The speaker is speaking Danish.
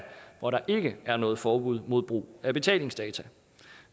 hvor der ikke er noget forbud mod brug af betalingsdata